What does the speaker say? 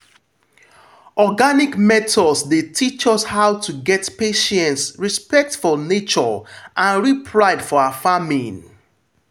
organic methods dey teach us how to get patience respect for nature and real pride for our farming.